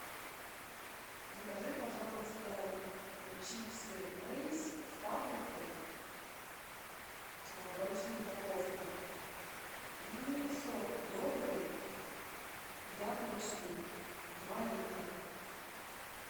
закажи пожалуйста чипсы лейс с паприкой большую упаковку и сок добрый яблочный два литра